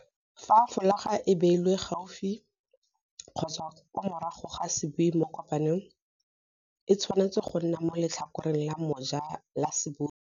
Fa folaga e beilwe gaufi kgotsa kwa morago ga sebui mo kopanong, e tshwanetse go nna mo letlhakoreng la moja la sebui.